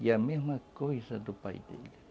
E a mesma coisa do pai dele.